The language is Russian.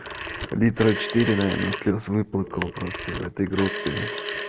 литра четыре наверно слёз выплакал просто в этой группе